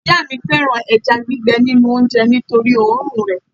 ìyá mi fẹràn eja gbigbe ninu onje nitori orun re